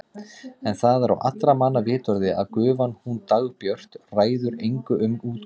En það er á allra manna vitorði að gufan hún Dagbjört ræður engu um útgáfuna.